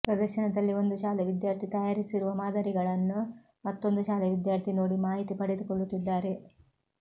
ಪ್ರದರ್ಶನದಲ್ಲಿ ಒಂದು ಶಾಲೆ ವಿದ್ಯಾರ್ಥಿ ತಯಾರಿಸಿರುವ ಮಾದರಿಗಳನ್ನು ಮತ್ತೊಂದು ಶಾಲೆ ವಿದ್ಯಾರ್ಥಿ ನೋಡಿ ಮಾಹಿತಿ ಪಡೆದುಕೊಳ್ಳುತ್ತಿದ್ದಾರೆ